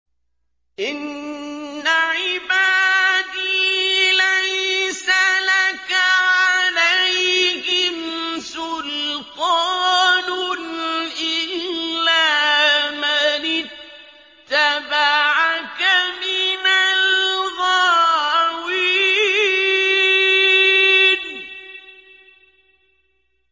إِنَّ عِبَادِي لَيْسَ لَكَ عَلَيْهِمْ سُلْطَانٌ إِلَّا مَنِ اتَّبَعَكَ مِنَ الْغَاوِينَ